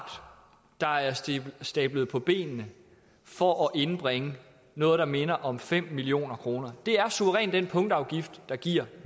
der er stablet på benene for at indbringe noget der minder om fem million kroner det er suverænt den punktafgift der giver